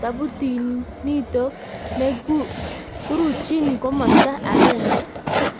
tabutinitok ne kuruchin komasta agenge?